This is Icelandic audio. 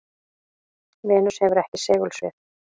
venus hefur ekki segulsvið